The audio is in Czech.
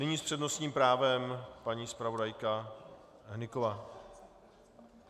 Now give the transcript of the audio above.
Nyní s přednostním právem paní zpravodajka Hnyková.